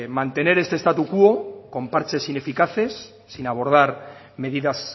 mantener este status quo con parches ineficaces sin abordar medidas